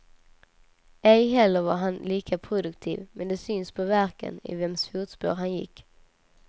Ej heller var han lika produktiv, men det syns på verken i vems fotspår han gick.